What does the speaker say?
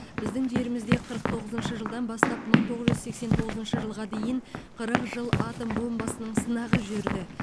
біздің жерімізде қырық тоғызыншы жылдан бастап мың тоғыз жүз сексен тоғызыншы жылға дейін қырық жыл атом бомбасының сынағы жүрді